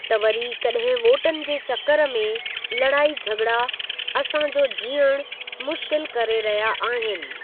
त वरी कड॒हिं वोटनि जे चक्करु में लड़ाई झॻिड़ा असांजो जीअणु मुश्किल करे रहिया आहिनि।